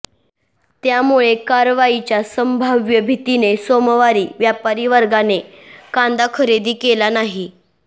त्यामुळे कारवाईच्या संभाव्य भीतीने सोमवारी व्यापारी वर्गाने कांदा खरेदी केला नाही